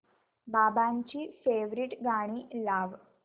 बाबांची फेवरिट गाणी लाव